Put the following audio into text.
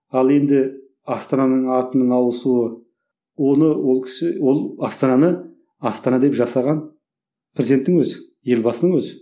ал енді астананың атының ауысу оны ол кісі ол астананы астана деп жасаған президенттің өзі елбасының өзі